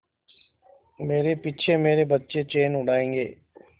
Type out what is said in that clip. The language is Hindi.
मेरे पीछे मेरे बच्चे चैन उड़ायेंगे